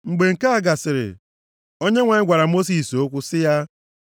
Mgbe nke a gasịrị, Onyenwe anyị gwara Mosis okwu sị ya,